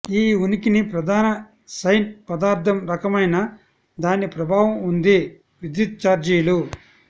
ఈ ఉనికిని ప్రధాన సైన్ పదార్థం రకమైన దాని ప్రభావం ఉంది విద్యుత్ ఛార్జీలు